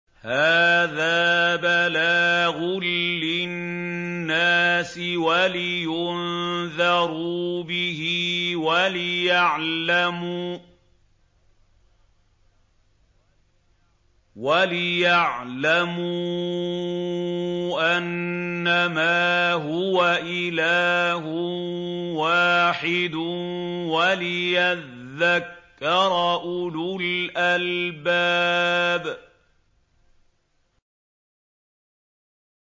هَٰذَا بَلَاغٌ لِّلنَّاسِ وَلِيُنذَرُوا بِهِ وَلِيَعْلَمُوا أَنَّمَا هُوَ إِلَٰهٌ وَاحِدٌ وَلِيَذَّكَّرَ أُولُو الْأَلْبَابِ